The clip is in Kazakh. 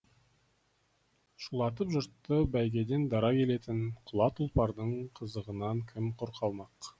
шулатып жұртты бәйгеден дара келетін құла тұлпардың қызығынан кім құр қалмақ